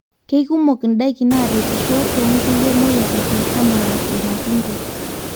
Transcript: keikumok ndaiki naretisho too nkulie moyiaritin anaa ilmatunda